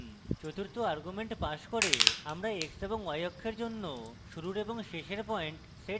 চতুর্থ argument pass করে আমরা x এবং y অক্ষের জন্য শুরুর এবং শেষের পয়েন্ট set করতে পারি